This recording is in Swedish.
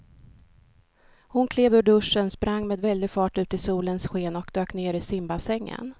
Hon klev ur duschen, sprang med väldig fart ut i solens sken och dök ner i simbassängen.